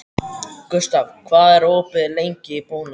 Gustav, hvað er opið lengi í Bónus?